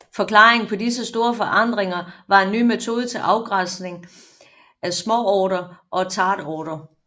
Forklaringen på disse store forandringer var en ny metode til afgrænsning af småorter og tätorter